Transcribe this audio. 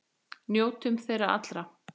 Njótum þeirra allra.